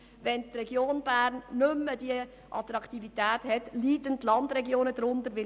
Wenn die Region Bern nicht mehr über diese Attraktivität verfügt, werden die Landregionen darunter leiden.